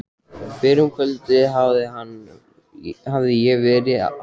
Fyrr um kvöldið hafði ég verið á leiðinni heim.